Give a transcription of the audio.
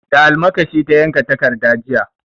Da almakashi ta yanka takarda jiya.